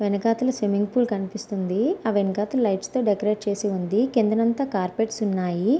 వెనకసలు swimming pool కనిపిస్తుంది ఆ వెనకసలు లైట్స్ తో డెకరేట్ చేసి ఉంది కిందంతా కార్పేట్స్ ఉన్నాయి.